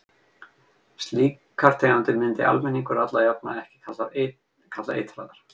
Slíkar tegundir myndi almenningur alla jafna ekki kalla eitraðar.